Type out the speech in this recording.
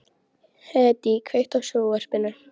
Hedí, kveiktu á sjónvarpinu.